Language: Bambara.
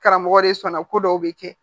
Karamɔgɔ de sɔnna ko dɔw bɛ kɛ